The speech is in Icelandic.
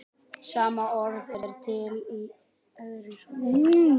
Nú fór í hönd tími sem ég hafði lengi látið mig dreyma um.